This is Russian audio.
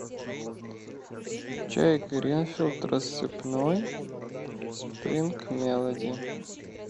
чай гринфилд рассыпной спринг мелоди